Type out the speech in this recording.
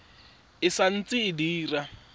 e sa ntse e dira